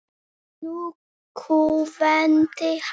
Nú kúventi hann.